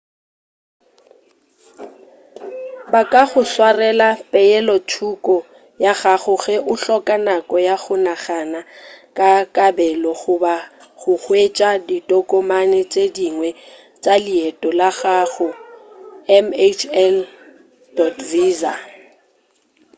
ba ka go swarela peelothoko ya gago ge o hloka nako ya go nagana ka kabelo goba go hwetša ditokomane tše dingwe tša leeto la gago mhl. visa